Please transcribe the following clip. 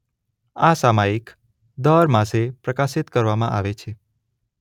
આ સામાયિક દર માસે પ્રકાશીત કરવામાં આવે છે.